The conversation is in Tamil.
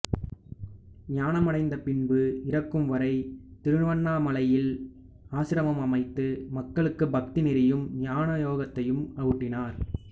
ஞானம் அடைந்த பின்பு இறக்கும் வரை திருவண்ணாமலையில் ஆசிரமம் அமைத்து மக்களுக்கு பக்தி நெறியும் ஞான யோகத்தையும் ஊட்டினார்